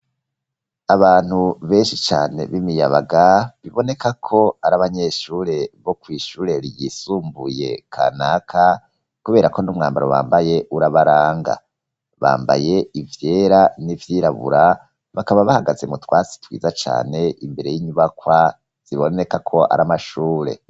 Abantu benshi cane b'imiyabaga biboneka ko ari abanyeshure bo ku ishure ryisumbuye kanaka kubera ko n'umwambaro wambaye urabaranga bambaye ivyera n'ivyirabura bakaba bahagaze mu twatsi twiza cane imbere y'inyibakwa ziboneka ko ari amashure.